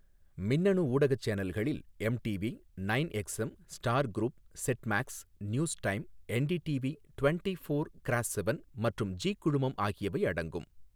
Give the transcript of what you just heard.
மின்னணு ஊடக சேனல்களில், MTV, nine XM, star group, set max, news time, NDTV twenty four cross seven மற்றும் Zee குழுமம் ஆகியவை அடங்கும்.